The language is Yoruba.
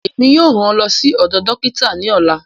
Èmi yóò ràn ọ ló sì odò dókítà ní ọlá